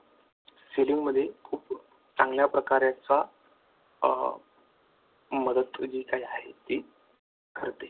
selling मध्ये खूप चांगल्या प्रकारे चा मदत जी काही आहे ती ठरते.